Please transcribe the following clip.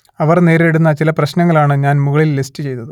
അവർ നേരിടുന്ന ചില പ്രശ്നങ്ങൾ ആണ് ഞാൻ മുകളിൽ ലിസ്റ്റ് ചെയ്തത്